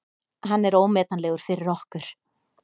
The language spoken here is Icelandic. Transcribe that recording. Hann er ómetanlegur fyrir okkur.